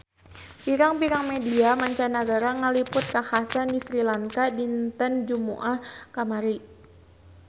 Pirang-pirang media mancanagara ngaliput kakhasan di Sri Lanka dinten Jumaah kamari